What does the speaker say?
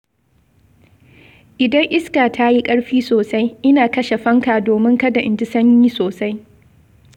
Idan iska ta yi ƙarfi sosai, ina kashe fanka domin kada in ji sanyi sosai.